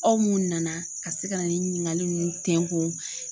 Aw mun nana ka se ka na ni ɲininkali ninnu tɛnkun.